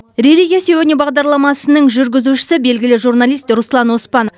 религия сегодня бағдарламасының жүргізушісі белгілі журналист руслан оспан